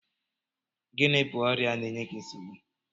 Gịnị bụ ọrịa na-eye gị nsogbu?